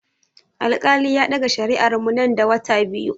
Alkali ya ɗaga shari'ar mu nan da wata biyu.